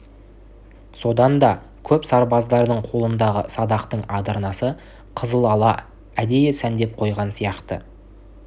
содан да көп сарбаздардың қолындағы садақтың адырнасы қызылала әдейі сәндеп қойған сияқты